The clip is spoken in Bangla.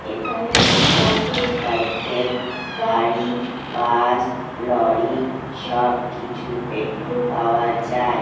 এখানে মোটরসাইকেল গাড়ি বাস লরি সবকিছুর পেট্রোল পাওয়া যায়।